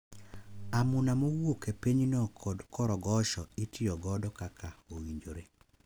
Amuna mowuok e pinyno kod korogosho itiyogodo kaka owinjore,